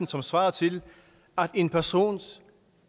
som svarede til at en persons